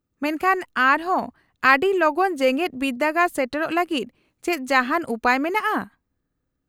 -ᱢᱮᱱᱠᱷᱟᱱ ᱟᱨᱦᱚᱸ ᱟᱹᱰᱤ ᱞᱚᱜᱚᱱ ᱡᱮᱜᱮᱫ ᱵᱤᱨᱫᱟᱹᱜᱟᱲ ᱥᱮᱴᱮᱨᱚᱜ ᱞᱟᱹᱜᱤᱫ ᱪᱮᱫ ᱡᱟᱦᱟᱱ ᱩᱯᱟᱹᱭ ᱢᱮᱱᱟᱜᱼᱟ ?